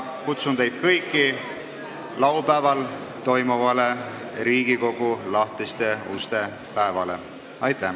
Kutsun teid kõiki laupäeval toimuvale Riigikogu lahtiste uste päevale!